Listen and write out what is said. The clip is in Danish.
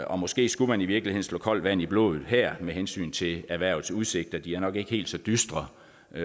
og måske skulle man i virkeligheden slå koldt vand i blodet her med hensyn til erhvervets udsigter de er nok ikke helt så dystre